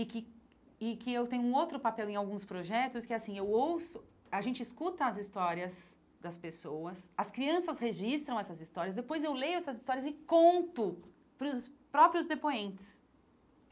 e que e que eu tenho um outro papel em alguns projetos, que é assim, eu ouço, a gente escuta as histórias das pessoas, as crianças registram essas histórias, depois eu leio essas histórias e conto para os próprios depoentes.